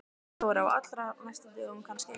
Þóra: Á allra næstu dögum kannski?